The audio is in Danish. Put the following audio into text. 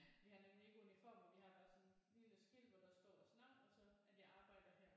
Vi har nemlig ikke uniformer vi har bare sådan et lille skilt hvor der står vores navn og så at jeg arbejder her